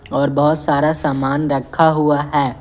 और बहोत सारा सामान रखा हुआ है।